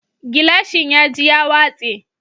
Gilashin ya ji ya watse